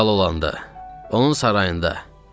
Kral olanda, onun sarayında.